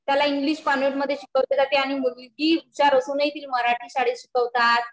मुलगा हुशार नसुनही त्यांना कॉन्व्हेंट मध्ये शिकवतात आणि मुलगी हुशार असूनही तिला मराठी शाळेत शिकवतात